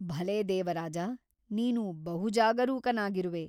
ಭಲೆ ದೇವರಾಜ ನೀನು ಬಹು ಜಾಗರೂಕನಾಗಿರುವೆ.